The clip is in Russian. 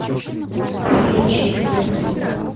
включи где ты